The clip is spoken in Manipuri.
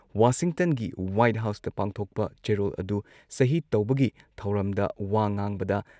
ꯋꯥꯁꯤꯡꯇꯟꯒꯤ ꯍ꯭ꯋꯥꯏꯠ ꯍꯥꯎꯁꯇ ꯄꯥꯡꯊꯣꯛꯄ ꯆꯦꯔꯣꯜ ꯑꯗꯨ ꯁꯍꯤ ꯇꯧꯕꯒꯤ ꯊꯧꯔꯝꯗ ꯋꯥ ꯉꯥꯡꯕꯗ